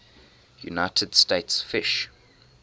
united states fish